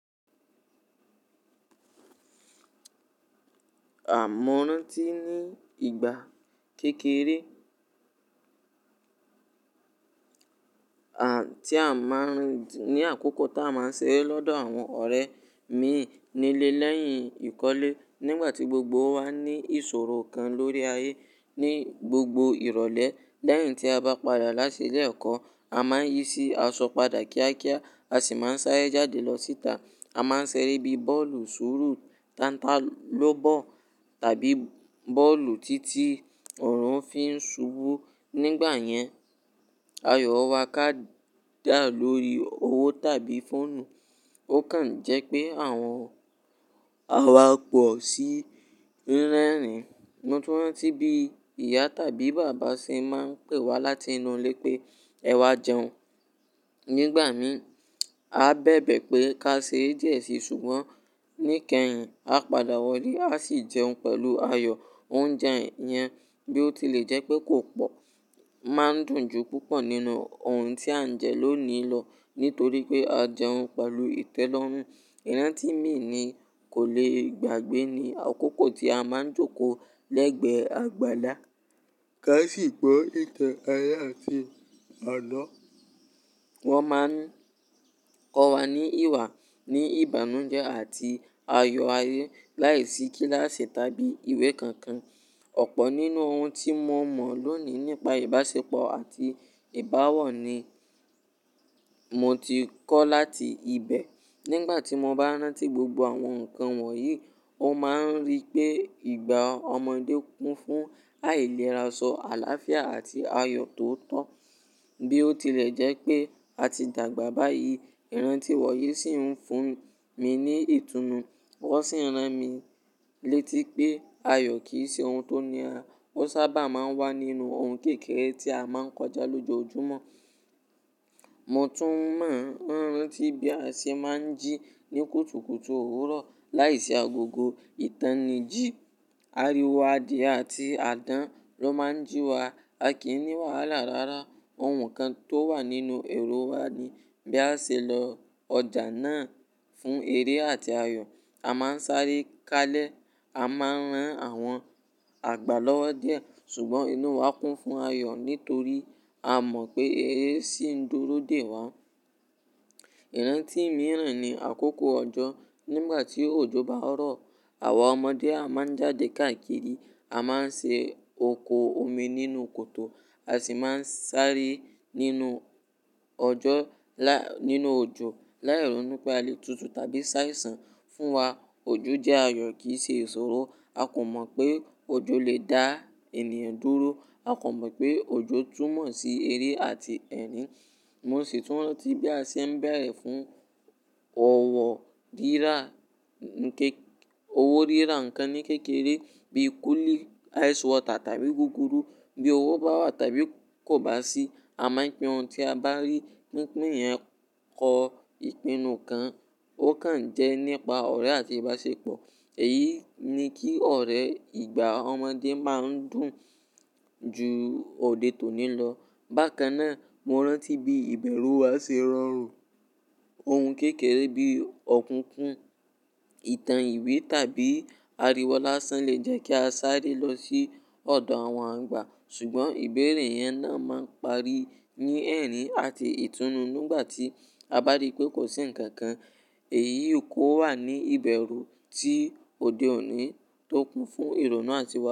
À mọ́ rántí ní ìgbà kékeré, à tí a máa ń ní àkókò tí a máa ń ṣeré lọ́dọ̀ àwọn ọ̀rẹ́ mi nílé lẹ́yìn ìkọ́lé. Nígbà tí gbogbo wa ní ìṣòro kan lórí ayé ní gbogbo ìrọ̀lẹ́. Lẹ́yìn tí a bá padà láti ilé ẹ̀kọ́, a máa ń yí sí aṣọ padà kíákíá, a sì máa ń sáré jáde lọ síta. A máa ń ṣeré bíi bọ́ọ̀lù sùúrù, tántálòbọ́ọ̀ tàbí bọ́ọ̀lù títí ọ̀run fi ń ṣubú. Nígbà yẹn, ayọ̀ wà kádà lórí owó tàbí fóònù. Ó kàn jẹ́ pé àwọn àwa pọ̀ sí rírerìn. Mo tún rántí bí ìyá tàbí bàbá ṣe máa ń pè wá láti inú ilé pé ẹ wá jẹun. Nígbà mi, a bẹ̀bẹ̀ pé ká ṣere díẹ̀ sí, ṣùgbọ́n ní ìkẹyìn a padà wọlé, a sì jẹun pẹ̀lú ayọ̀. Oúnjẹ yẹn bí ó tilẹ̀ jẹ́ pé kò pọ̀, máa ń dùn ju púpọ̀ nínú ohun tí à ń jẹ lónìí lọ nítorí pé a jẹun pẹ̀lú ìtẹ́lọ́rùn. Ìrántí mi ni kò le gbàgbé ní àkókò tí a máa ń jókòó lẹ́gbẹ̀ẹ́ àgbàlá. Ká sì gbọ́ ìtàn ayé àti àná. Wọ́n máa ń kọ́ wa ní ìwà ní ìbánújẹ́ àti ayọ̀ ayé láìsí kíláàsì tàbí ìwé kankan. Ọ̀pọ̀ nínú ohun tí mo mọ̀ lónìí nípa ìbáṣepọ̀ àti ìbáwọ̀ ni mo ti kọ́ láti ibẹ̀. Nígbà tí mo bá rántí gbogbo àwọn nǹkan wọ̀nyí, ó máa ń rí pé ìgbà ọmọdé kún fún àìlera, sọ àláfíà àti ayọ̀ tó tọ́. Bí ó tilẹ̀ jẹ́ pé a ti dàgbà báyìí, ìrántí wọ̀nyí sì ń fún mi ní ìtúnu. Wọ́n sì ń rán mi létí pé ayọ̀ kì í ṣe ohun tó níra. Ó sábà máa ń wà nínú ohun kékeré tí a máa ń kọjá lójoojúmọ́. Mo tún mọ̀ rántí bí a ṣe máa ń jí ní kùtùkùtù òwúrọ̀ láìsí agogo. Ìtàn ni jí. Ariwo adìẹ àti àdán ló máa ń jí wa. A kì í ní wàhálà rara. Ohun kan tó wà nínú èrò wa ni bí a ṣe lọ ọjà náà fún eré àti ayọ̀. A máa ń sáré kalẹ̀, a máa ń rán àwọn àgbà lọ́wọ́ díẹ̀. Ṣùgbọ́n inú wa kún fún ayọ̀ nítorí a mọ̀ pé eré sì ń dúró dè wá. Ìrántí mìíràn ni àkókò ọjọ́. Nígbà tí òjò bá rọ̀, àwa ọmọdé a máa ń jáde káàkiri. A máa ń ṣe oko omi nínú koto, a sì máa ń sáré nínú ọjọ́ lá nínú òjò láì rónú pé alè tutu tàbí ṣàìsàn fún wa. Òjò jẹ́ ayọ̀ kì í ṣe ìṣòro. A kò mọ̀ pé òjò lè dá ènìyàn dúró. A kò mọ̀ pé òjò túnmọ̀ sí eré àti ẹ̀rín. Mo sì tún rántí bí a ṣe ń bẹ̀rẹ̀ fún ọwọ́ rírà, n ké owó rírà nǹkan ní kékeré bíi kúlíì, ice water tàbí gúgúrú. Bí owó bá wà tàbí kò bá sí, a máa ń pín ohun tí a bá rí. Pínpín yẹn kọ ìpinnu kan. Ó kàn jẹ́ nípa ọ̀rẹ́ àti ìbáṣepọ̀. Èyí ni kí ọ̀rẹ́ ìgbà ọmọdé máa ń dùn ju òde tòní lọ. Bákan náà, mo rántí bí ìbẹ̀rù wa ṣe rọrùn. Ohun kékeré bíi ọ̀kúnkún, ìtàn ìwé tàbí ariwo lásán lè jẹ́ kí a sáré lọ sí ọ̀dọ̀ àwọn àgbà. Ṣùgbọ́n ìbéèrè yẹn náà máa ń parí ní ẹ̀rín àti ìtúnu nígbà tí a bá rí pé kò sí ǹkan kan. Èyí kò wà ní ìbẹ̀rù tí òde òní tó kún fún ìrònú àti wa.